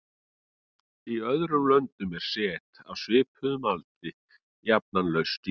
Í öðrum löndum er set af svipuðum aldri jafnan laust í sér.